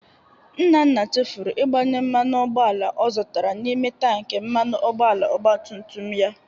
Nnanna chefuru igbanye mmanụ ụgbọala ọ zụtara n'ime tanki mmanụ ụgbọala ọgbatumtum ya.